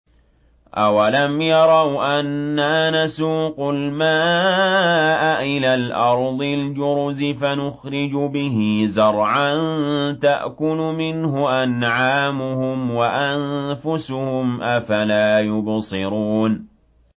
أَوَلَمْ يَرَوْا أَنَّا نَسُوقُ الْمَاءَ إِلَى الْأَرْضِ الْجُرُزِ فَنُخْرِجُ بِهِ زَرْعًا تَأْكُلُ مِنْهُ أَنْعَامُهُمْ وَأَنفُسُهُمْ ۖ أَفَلَا يُبْصِرُونَ